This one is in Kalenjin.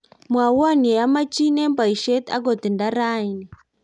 mwomwoun ye amechin eng boisie akot nda rauni